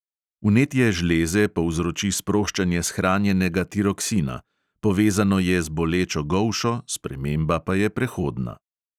Vnetje žleze povzroči sproščanje shranjenega tiroksina; povezano je z bolečo golšo, sprememba pa je prehodna.